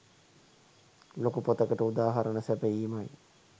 ලොකු පොතකට උදාහරණ සැපයීමයි.